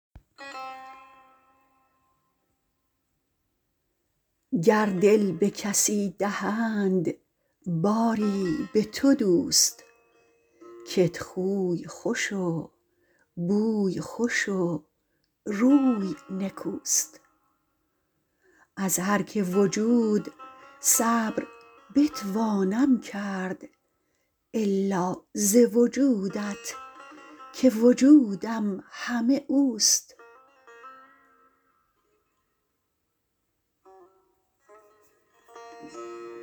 گر دل به کسی دهند باری به تو دوست کت خوی خوش و بوی خوش و روی نکوست از هر که وجود صبر بتوانم کرد الا ز وجودت که وجودم همه اوست